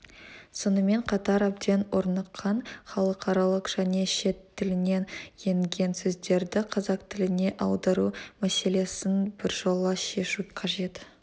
сонымен қатар әбден орныққан халықаралық және шет тілінен енген сөздерді қазақ тіліне аудару мәселесін біржола шешу қажет